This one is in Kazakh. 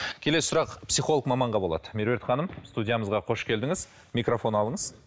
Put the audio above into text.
келесі сұрақ психолог маманға болады меруерт ханым студиямызға қош келдіңіз микрофон алыңыз